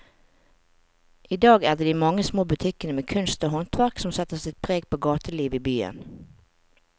I dag er det de mange små butikkene med kunst og håndverk som setter sitt preg på gatelivet i byen.